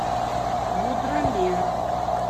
мудромер